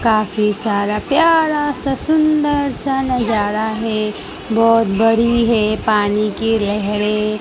काफी सारा प्यारा सा सुंदर सा नजारा है। बहोत बड़ी है पानी की लहरे--